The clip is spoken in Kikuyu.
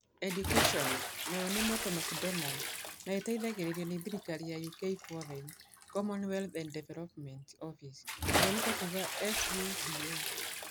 Education (Mott McDonald) na ĩteithagĩrĩrio nĩ thirikari ya UK Foreign, Commonwealth and Development Office (FCDO).